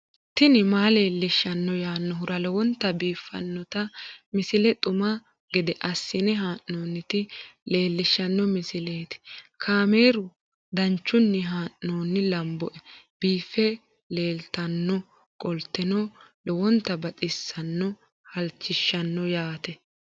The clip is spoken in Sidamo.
tini maa leelishshanno yaannohura lowonta biiffanota misile xuma gede assine haa'noonnita leellishshanno misileeti kaameru danchunni haa'noonni lamboe biiffe leeeltannoqolten lowonta baxissannoe halchishshanno yaate